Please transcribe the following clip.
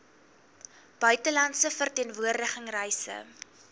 buitelandse verteenwoordiging reise